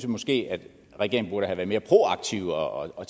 måske at regeringen burde have været mere proaktiv og og